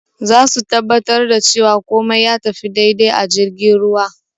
Zasu tabbatar da cewa kumai ya tafi dai-dai a jirgin ruwa